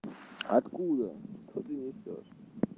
откуда что ты несёшь